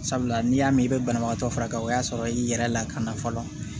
Sabula n'i y'a mɛn i bɛ banabaatɔ fara ka o y'a sɔrɔ i yɛrɛ lakana fɔlɔ